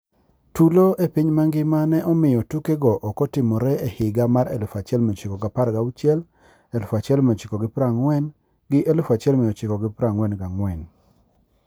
Tulo e piny mangima ne omiyo tuke go okotimore e higa 1916,1940 gi 1944,